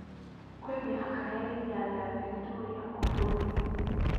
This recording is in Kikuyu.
Kwĩ mĩhaka ya iria rĩa Victoria o bũrũri